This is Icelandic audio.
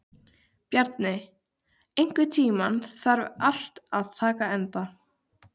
Bjarni, einhvern tímann þarf allt að taka enda.